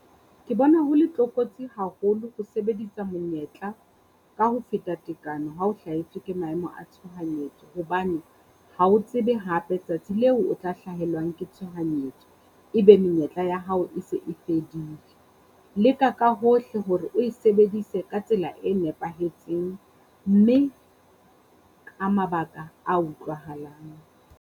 Ke bona ho le tlokotsi haholo ho sebedisa monyetla ka ho feta tekano habo hlahetswe ke maemo a tshohanyetso, hobane ha o tsebe hape tsatsi leo o tla hlahelwang ke tshohanyetso. Ebe menyetla ya hao e se e fedile. Leka ka hohle hore o e sebedise ka tsela e nepahetseng mme ka mabaka a utlwahalang.